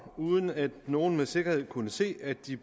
uden at nogen med sikkerhed kunne se at de